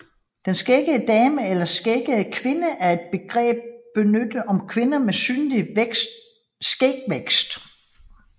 Den skæggede dame eller skæggede kvinde er et begreb benyttet om kvinder med synlig skægvækst